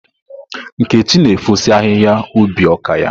Nkechi na efosi ahihia ubi ọka ya.